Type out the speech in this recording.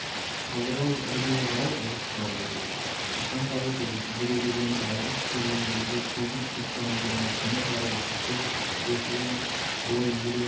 қазір ол іргеге қарай ығысып барып отырды қашанғы әдеті осы дүре дегенді алғаш көрген кезде көзін кітаптан аудармай төмен қарап отырушы еді осы күні бойы үйреніп